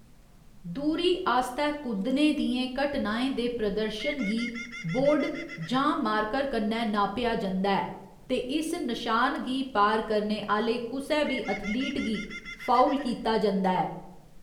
दूरी आस्तै कुद्दने दियें घटनाएं दे प्रदर्शन गी बोर्ड जां मार्कर कन्नै नापेआ जंदा ऐ, ते इस नशान गी पार करने आह्‌‌‌ले कुसै बी एथलीट गी फाउल कीता जंदा ऐ।